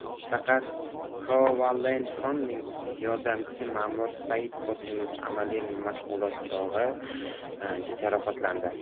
Faqat Kovalenkoning yordamchisi Ma’mur Saidqosimov amaliy mashg‘ulot chog‘i jarohatlandi.